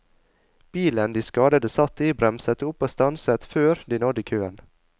Bilen de skadede satt i, bremset opp og stanset før de nådde køen.